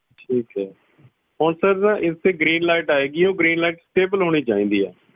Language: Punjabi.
ਠੀਕ ਆ ਹੁਣ ਸਰ ਇਸ ਤੇ green light ਆਏਗੀ ਉਹ green light ਹੋਣੀ ਚਾਹੀਦੀ ਆ